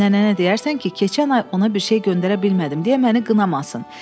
Nənəyə deyərsən ki, keçən ay ona bir şey göndərə bilmədim deyə məni qınamasın.